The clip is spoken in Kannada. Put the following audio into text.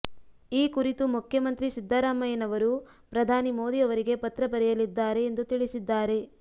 ಈ ಕುರಿತು ಮುಖ್ಯಮಂತ್ರಿ ಸಿದ್ದರಾಮಯ್ಯನವರು ಪ್ರಧಾನಿ ಮೋದಿ ಅವರಿಗೆ ಪತ್ರ ಬರೆಯಲಿದ್ದಾರೆ ಎಂದು ತಿಳಿಸಿದ್ದಾರೆ